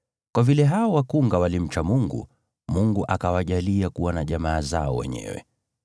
Kwa vile hao wakunga walimcha Mungu, Mungu akawajalia kuwa na jamaa zao wenyewe.